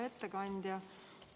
Hea ettekandja!